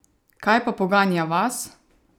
Kaj pa poganja vas?